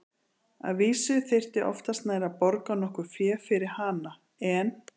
Að vísu þyrfti oftast nær að borga nokkurt fé fyrir hana, en